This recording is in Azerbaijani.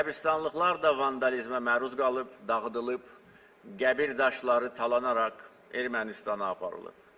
Qəbristanlıqlar da vandalizmə məruz qalıb, dağıdılıb, qəbir daşları talanaraq Ermənistana aparılıb.